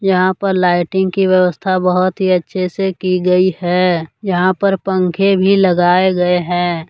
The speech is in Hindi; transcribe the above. यहां पर लाइटिंग की व्यवस्था बहुत ही अच्छे से की गई है यहां पर पंखे भी लगाए गए हैं।